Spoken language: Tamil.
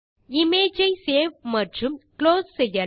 இமேஜ் ஐ சேவ் மற்றும் குளோஸ் செய்யலாம்